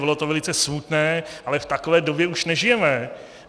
Bylo to velice smutné, ale v takové době už nežijeme.